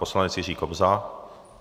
Poslanec Jiří Kobza.